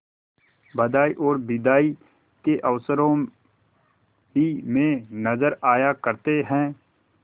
बधाई और बिदाई के अवसरों ही में नजर आया करते हैं